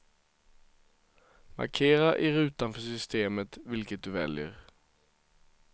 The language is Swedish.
Markera i rutan för systemet vilket du väljer.